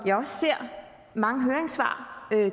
jeg også ser mange høringssvar